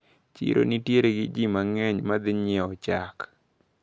Chiro nitiere gi ji mang`eny madhi nyiewo chak.